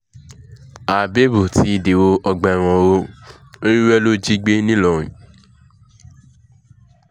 hábẹ́ẹ̀bù ti dèrò ọgbà ẹ̀wọ̀n o ewúrẹ́ ló lọ́ọ́ jí gbé ńìlọrin